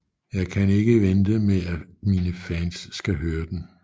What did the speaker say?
Jeg kan ikke vente med at mine fans skal høre den